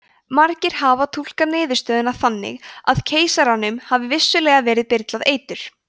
margir hafa túlkað niðurstöðuna þannig að keisaranum hafi vissulega verið byrlað eitur